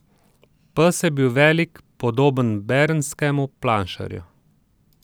Pes je bil velik, podoben bernskemu planšarju.